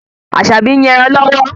Aṣabi ń yàn ẹran lọ́wọ́